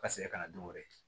Ka segin kana don o yɛrɛ ye